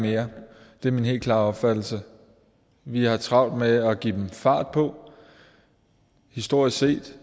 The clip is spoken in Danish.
mere det er min helt klare opfattelse vi har travlt med at give dem fart på historisk set